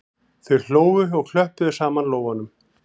Þau hlógu og klöppuðu saman lófunum